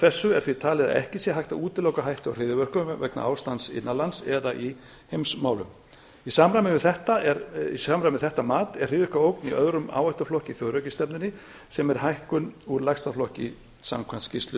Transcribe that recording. þessu er því talið að ekki sé hægt að útiloka hættu á hryðjuverkum vegna ástands innan lands eða í heimsmálum í samræmi við þetta mat er hryðjuverkaógn í öðrum áhættuflokki í þjóðrækisstefnunni sem er hækkun úr lægsta flokki samkvæmt skýrslu